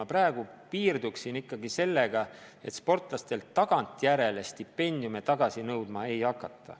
Ma praegu piirduksin ikkagi sellega, sportlastelt tagantjärele stipendiume tagasi nõudma ei hakata.